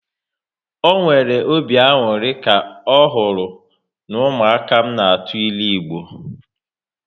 Ọ nwere obi aṅụrị ka ọ hụrụ n'umuaka m n' atụ ịlụ Igbo